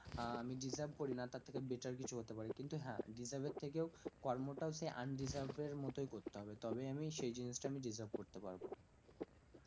আহ আমি deserve করি না তার থেকে better কিছু হতে পারি, কিন্তু হ্যাঁ deserve এর থেকেও কর্মটা হচ্ছে undeserve এর মতোই করতে হবে তবেই আমি সেই জিনিসটা আমি deserve করতে পারবো